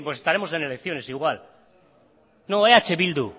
porque estaremos en elecciones igual no eh bildu